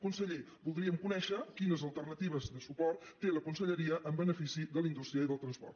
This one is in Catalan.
conseller voldríem conèixer quines alternatives de suport té la conselleria en benefici de la indústria i del transport